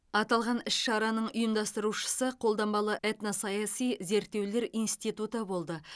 аталған іс шараның ұйымдастырушысы қолданбалы этносаяси зерттеулер институты болды